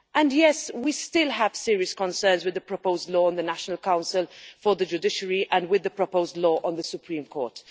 Yes, we still have serious concerns about the proposed law on the National Council for the Judiciary and about the proposed law on the Supreme Court.